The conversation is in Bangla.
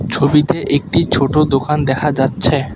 ছবিতে একটি ছোট দোকান দেখা যাচ্ছে।